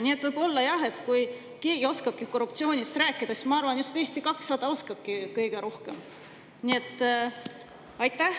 Nii et võib-olla jah, kui keegi oskab korruptsioonist rääkida, siis ma arvan, et just Eesti 200 oskab seda kõige rohkem.